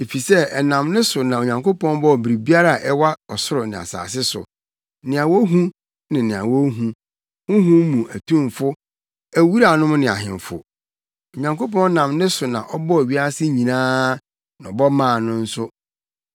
Efisɛ ɛnam ne so na Onyankopɔn bɔɔ biribiara a ɛwɔ ɔsoro ne asase so, nea wohu ne nea wonhu, honhom mu atumfo, awuranom ne ahemfo. Onyankopɔn nam ne so na ɔbɔɔ wiase nyinaa na ɔbɔ maa no nso.